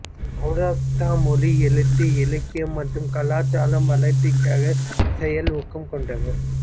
சௌராஷ்டிரா மொழி எழுத்து இலக்கியம் மற்றும் கலாச்சாரம் வளர்ச்சிக்காக செயல் ஊக்கம் கொண்டவர்